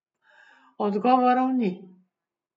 Odgovorov ni.